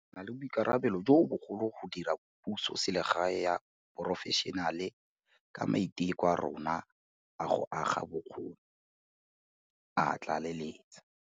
Re na le boikarabelo jo bogolo go dira pusoselegae ya porofešenale, ka maiteko a rona a go aga bokgoni, a tlaleletsa.